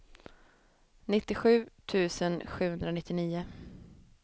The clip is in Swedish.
nittiosju tusen sjuhundranittionio